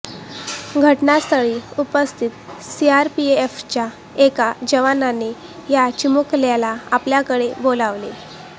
घटनास्थळी उपस्थित सीआरपीएफच्या एका जवानाने या चिमुकल्याला आपल्याकडे बोलावले